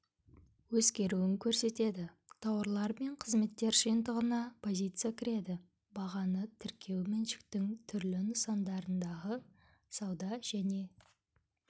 өзгеруін көрсетеді тауарлар мен қызметтер жиынтығына позиция кіреді бағаны тіркеу меншіктің түрлі нысандарындағы сауда және